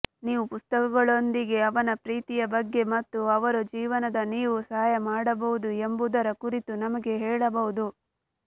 ನೀವು ಪುಸ್ತಕಗಳೊಂದಿಗೆ ಅವನ ಪ್ರೀತಿಯ ಬಗ್ಗೆ ಮತ್ತು ಅವರು ಜೀವನದ ನೀವು ಸಹಾಯ ಮಾಡಬಹುದು ಎಂಬುದರ ಕುರಿತು ನಮಗೆ ಹೇಳಬಹುದು